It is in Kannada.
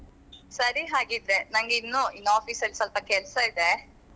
ಸರಿ ಹಾಗಿದ್ರೆ ನನ್ಗೆ ಇನ್ನು ಇನ್ನು office ಅಲ್ಲಿ ಸಲ್ಪ ಕೆಲ್ಸ ಇದೆ.